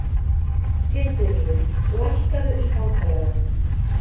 Hildiríður, lækkaðu í hátalaranum.